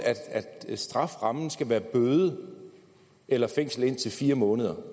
at strafferammen skal være bøde eller fængsel i indtil fire måneder